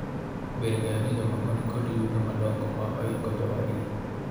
Ber ng'eyo ni jomoko nikod yuto madongo ma oingo jowadgi